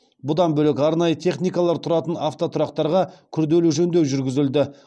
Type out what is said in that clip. бұдан бөлек арнайы техникалар тұратын автотұрақтарға күрделі жөндеу жүргізілді